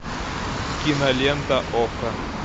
кинолента окко